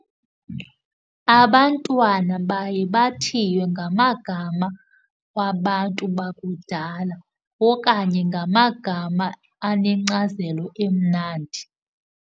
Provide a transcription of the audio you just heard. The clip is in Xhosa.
Abantwana baye bathiywe ngamagama wabantu bakudala okanye ngamagama anenkcazelo emnandi.